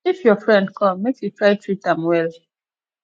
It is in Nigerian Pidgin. if your friend come make you try treat am well